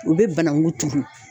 U bɛ banakun turu.